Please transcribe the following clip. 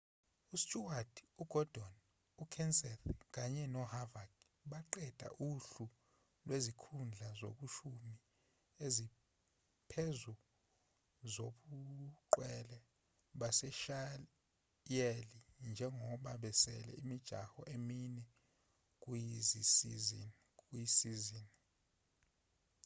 usteward ugordon ukenseth kanye noharvick baqedela uhlu lwezikhundla eziyishumi eziphezulu zobungqwele babashayeli njengoba kusele imijaho emine kuyisizini